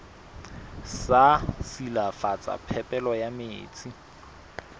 sa silafatsa phepelo ya metsi